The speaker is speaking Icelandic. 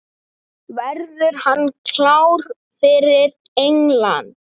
Verður hann klár fyrir England?